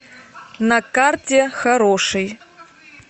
на карте хороший